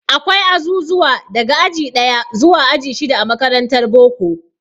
Akwai azuzuwa daga aji ɗaya zuwa aji shida a makarantar boko.